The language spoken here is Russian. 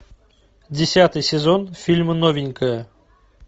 десятый сезон фильма новенькая